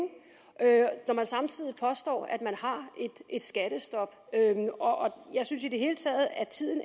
når man samtidig påstår at man har et skattestop jeg synes i det hele taget at tiden